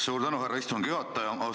Suur tänu, härra istungi juhataja!